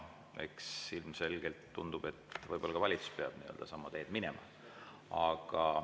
Ilmselgelt tundub, et ka valitsus peab sama teed minema.